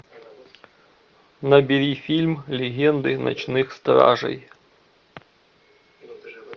набери фильм легенды ночных стражей